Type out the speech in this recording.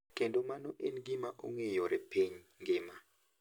Kendo mano en gima ong`eyore piny ngima.